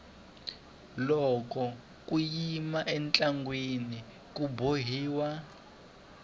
loko ku yiwa entlangwini ka bombiwa